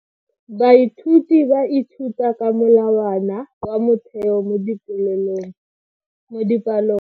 Baithuti ba ithuta ka molawana wa motheo mo dipalong.